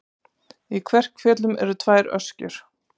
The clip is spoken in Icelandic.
Í Kverkfjöllum eru tvær öskjur.